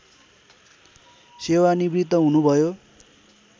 सेवानिवृत्त हुनुभयो